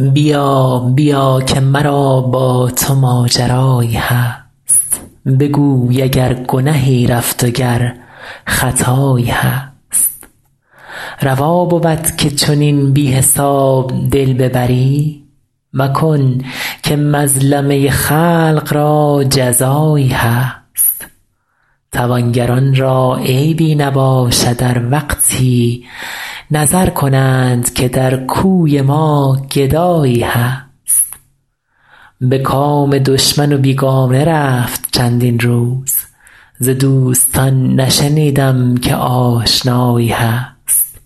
بیا بیا که مرا با تو ماجرایی هست بگوی اگر گنهی رفت و گر خطایی هست روا بود که چنین بی حساب دل ببری مکن که مظلمه خلق را جزایی هست توانگران را عیبی نباشد ار وقتی نظر کنند که در کوی ما گدایی هست به کام دشمن و بیگانه رفت چندین روز ز دوستان نشنیدم که آشنایی هست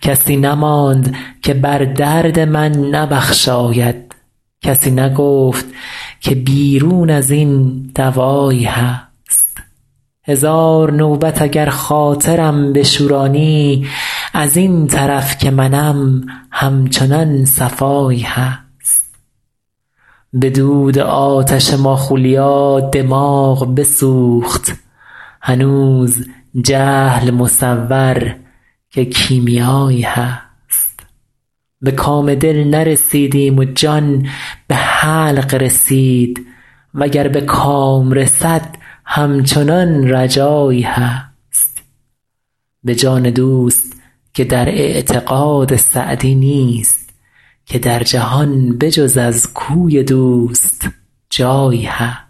کسی نماند که بر درد من نبخشاید کسی نگفت که بیرون از این دوایی هست هزار نوبت اگر خاطرم بشورانی از این طرف که منم همچنان صفایی هست به دود آتش ماخولیا دماغ بسوخت هنوز جهل مصور که کیمیایی هست به کام دل نرسیدیم و جان به حلق رسید و گر به کام رسد همچنان رجایی هست به جان دوست که در اعتقاد سعدی نیست که در جهان به جز از کوی دوست جایی هست